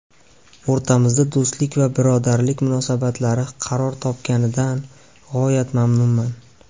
O‘rtamizda do‘stlik va birodarlik munosabatlari qaror topganidan g‘oyat mamnunman.